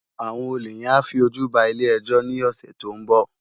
Awòn ólé yèn á fi ójú bá ilé èjò ni òsè tó n bò